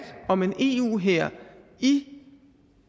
om en eu hær i